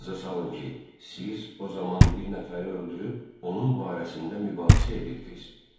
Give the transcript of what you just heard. Yadınıza salın ki, siz o zaman bir nəfəri öldürüb, onun barəsində mübahisə edirdiz.